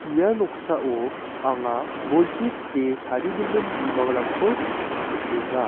ia noksao anga bolchi kite tarigimin bimangrangko nikenga.